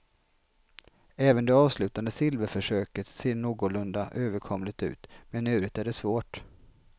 Även det avslutande silverförsöket ser någorlunda överkomligt ut, men i övrigt är det svårt.